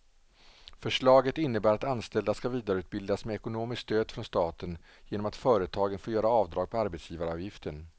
Förslaget innebär att anställda ska vidareutbildas med ekonomiskt stöd från staten genom att företagen får göra avdrag på arbetsgivaravgiften.